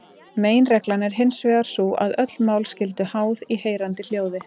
Meginreglan er hinsvegar sú að öll mál skulu háð í heyranda hljóði.